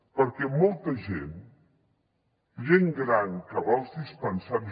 perquè molta gent gent gran que va als dispensaris